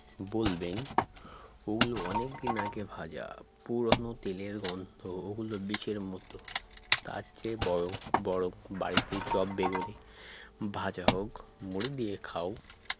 বলবেন ওগুলো অনেকদিন আগে ভাজা পুরনো তেলের গন্ধ ওগুলো বিষের মত তারচেয়ে বয়ং বরং বাড়িতে চপ বেগুনি ভাজা হোক মুড়ি দিয়ে খাও